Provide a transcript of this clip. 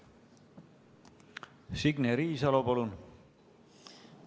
Signe Riisalo, palun!